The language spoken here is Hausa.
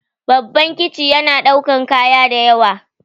Babban kici yana ɗaukan kaya dayawa